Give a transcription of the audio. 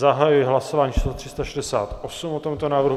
Zahajuji hlasování číslo 368 o tomto návrhu.